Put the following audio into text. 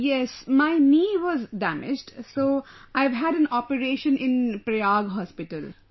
Yes, my knee was damaged, so I have had an operation in Prayag Hospital |